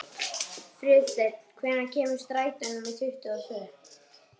Friðsteinn, hvenær kemur strætó númer tuttugu og tvö?